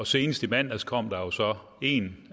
senest i mandags kom der jo så en